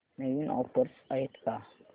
नवीन offers आहेत का